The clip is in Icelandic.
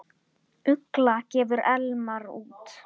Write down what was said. Ugla gefur Elmar út.